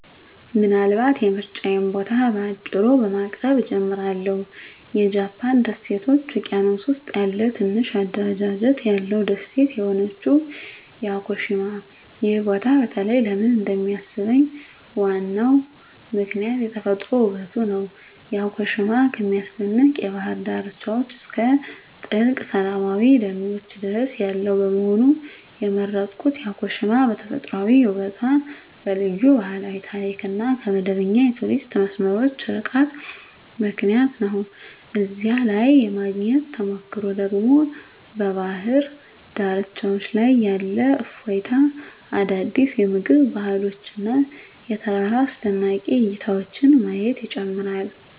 ምናልባት የምርጫዬን ቦታ በአጭሩ በማቅረብ እጀምራለሁ -የጃፓን ደሴቶች ውቅያኖስ ውስጥ ያለ ትንሽ አደረጃጀት ያለው ደሴት የሆነችው ያኮሺማ። ይህ ቦታ በተለይ ለምን እንደሚሳብኝ ዋናው ምክንያት የተፈጥሮ ውበቱ ነው። ያኮሺማ ከሚያስደንቅ የባህር ዳርቻዎች እስከ ጥልቅ ሰላማዊ ደኖች ድረስ ያለው በመሆኑ። የመረጥኩት ያኮሺማ በተፈጥሯዊ ውበቷ፣ በልዩ ባህላዊ ታሪክ እና ከመደበኛ የቱሪስት መስመሮች ርቃታ ምክንያት ነው። እዚያ ላይ የማግኘት ተሞክሮ ደግሞ በባህር ዳርቻዎች ላይ ያለ እፎይታ፣ አዳዲስ የምግብ ባህሎች እና የተራራ አስደናቂ እይታዎችን ማየት ይጨምራል።